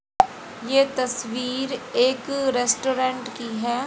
ये तस्वीर एक रेस्टोरेंट की है।